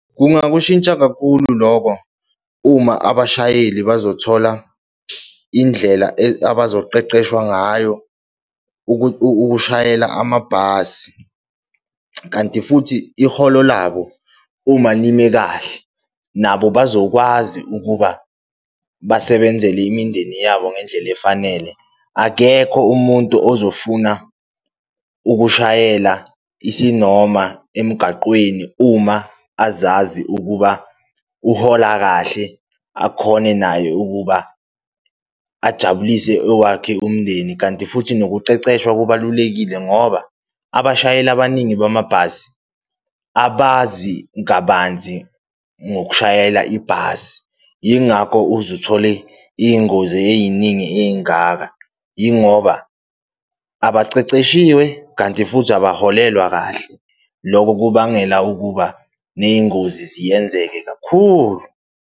Kungakushintsha kakhulu lokho, uma abashayeli bazothola indlela abazoqeqeshwa ngayo ukushayela amabhasi, kanti futhi iholo labo uma lime kahle nabo bazokwazi ukuba basebenzele imindeni yabo ngendlela efanele. Akekho umuntu ozofuna ukushayela isinoma emgaqweni, uma azazi ukuba uhola kahle, akhone naye ukuba ajabulise owakhe umndeni. Kanti futhi nokuqeqeshwa kubalulekile ngoba abashayeli abaningi bamabhasi abazi kabanzi ngokushayela ibhasi. Yingakho uze uthole iy'ngozi ey'ningi ey'ngaka yingoba abaceceshiwe kanti futhi abaholelwa kahle, loko kubangela ukuba ney'ngozi. Ziyenzeke kakhulu.